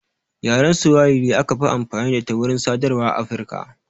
Yaren swahili aka fi amfani da ita wurin sadarwa a Afirika